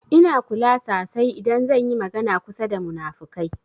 Ina kula sasai idan zan yi magana kusa da munafukai.